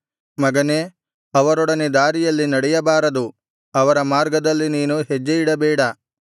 ಮಗನೇ ಅವರೊಡನೆ ದಾರಿಯಲ್ಲಿ ನಡೆಯಬಾರದು ಅವರ ಮಾರ್ಗದಲ್ಲಿ ನೀನು ಹೆಜ್ಜೆಯಿಡಬೇಡ